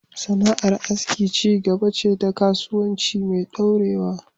Sana’ar aski ci gaba ce ta kasuwanci mai dorewa